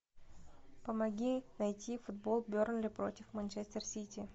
помоги найти футбол бернли против манчестер сити